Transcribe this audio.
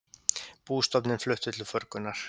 Bústofninn fluttur til förgunar